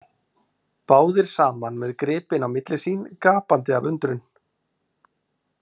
Báðir saman með gripinn á milli sín, gapandi af undrun.